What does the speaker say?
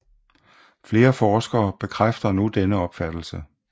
Flere forskere bekræfter nu denne opfattelse